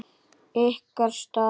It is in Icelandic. Ykkar stað?